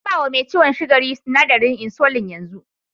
An ba wa me ciwon sukari sinadarin insulin yanzu.